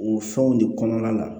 O fɛnw de kɔnɔna la